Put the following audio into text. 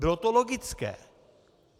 Bylo to logické.